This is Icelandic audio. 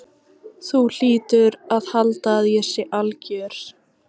Þú hlýtur að halda að ég sé alger.